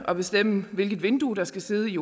at bestemme hvilket vindue der skal sidde i